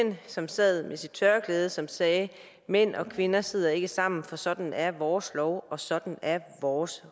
som sad med sit tørklæde som sagde mænd og kvinder sidder ikke sammen for sådan er vores lov og sådan er vores